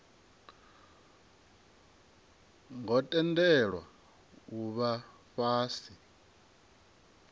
ngo tendelwa u vha fhasi